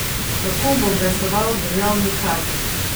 Kako bo glasoval državni Kad?